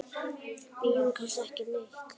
Bíður kannski ekki neitt?